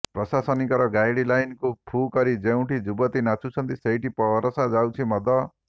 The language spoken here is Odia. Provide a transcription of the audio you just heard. ପ୍ରଶାସନିକର ଗାଇଡ୍ ଲାଇନକୁ ଫୁ କରି ଯେଉଁଠି ଯୁବତୀ ନାଚୁଛନ୍ତି ସେଇଠି ପରସା ଯାଉଛି ମଦ